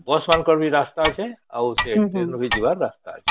bus ରେ ଯିବାର ରାସ୍ତା ଅଛେ ଆଉ ସେ ଟ୍ରେନ ରେ ବି ଯିବାର ରାସ୍ତା ଅଛି